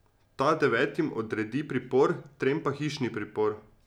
Ta devetim odredi pripor, trem pa hišni pripor.